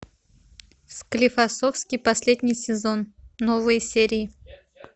склифосовский последний сезон новые серии